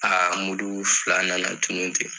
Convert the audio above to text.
Aa mulu fila nana tunun ten.